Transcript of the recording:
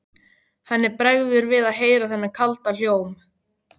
Henni bregður við að heyra þennan kalda hljóm.